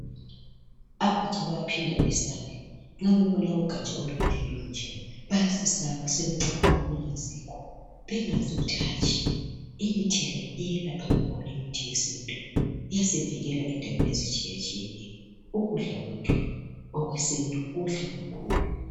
Abatsha baphinda besabe nxa bebona ugaja olunje lunje, baya sebesaba becabanga okungayisikho bengazi ukuthi hatshi, imithi le iyelapha kakhulu. Imithi le yesintu iyasivikela endaweni ezitshiyatshiyeneyo. Ukudla kwethu okwesintu kuhle kakhulu.